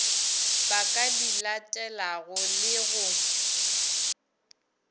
ba ka dilatelago le go